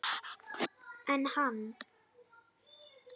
Enn hann